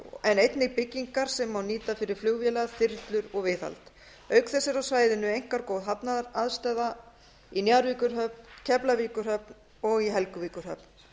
en einnig byggingar sem má nýta fyrir flugvélar þyrlur og viðhald auk þess er á svæðinu einkar góð hafnaraðstaða njarðvíkurhöfn keflavíkurhöfn og helguvíkurhöfn